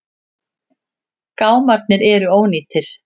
Gámarnir eru ónýtir.